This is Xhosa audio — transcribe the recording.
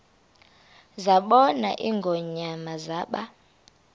zabona ingonyama zaba